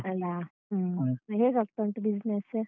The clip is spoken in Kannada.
ಅಲಾ ಹ್ಮ್ ಹೇಗಾಗ್ತಾ ಉಂಟು business?